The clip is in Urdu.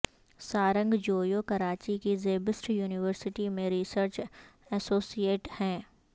سارنگ جویو کراچی کی زیبسٹ یونیورسٹی میں ریسرچ ایسوسی ایٹ ہیں